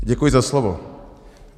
Děkuji za slovo.